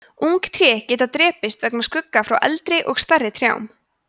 ung tré geta drepist vegna skugga frá eldri og stærri trjám